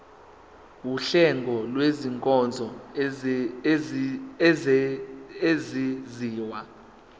wuhlengo lwezinkonzo ezenziwa